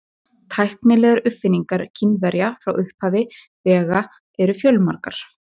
Tæknilegar uppfinningar Kínverja frá upphafi vega eru fjölmargar.